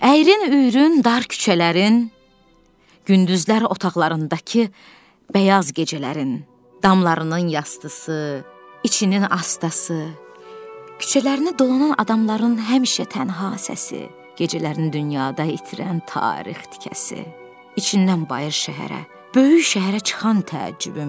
Əyri-üyrü dar küçələrin, gündüzlər otaqlarındakı bəyaz gecələrin, damlarının yastısı, içinin astası, küçələrini dolanan adamların həmişə tənha səsi, gecələrini dünyada itirən tarix tikəsi, içindən bayır şəhərə, böyük şəhərə çıxan təəccübüm.